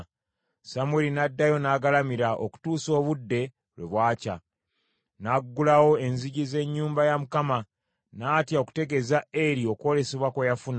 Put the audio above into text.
Samwiri n’addayo n’agalamira okutuusa obudde lwe bwakya, n’aggulawo enzigi ez’ennyumba ya Mukama . N’atya okutegeeza Eri okwolesebwa kwe yafuna,